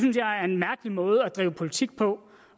en mærkelig måde at drive politik på